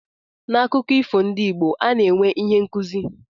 N'akụkọ ifo ndị Igbo, ana-enwe ihe nkụzi.